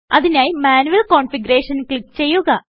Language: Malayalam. അതിനായി മാന്യുയൽ കോൺഫിഗ് ക്ലിക്ക് ചെയ്യുക